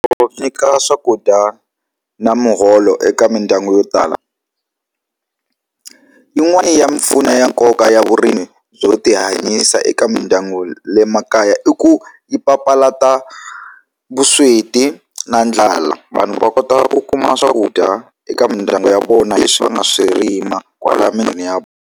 Ku nyika swakudya na muholo eka mindyangu yo tala yin'wana ya mimpfuno ya nkoka ya vurimi byo tihanyisa eka mindyangu le makaya i ku yi papalata vusweti na ndlala vanhu va kota ku kuma swakudya eka mindyangu ya vona va nga swi rima kwalaya ya.